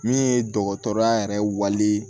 Min ye dɔgɔtɔrɔya yɛrɛ wali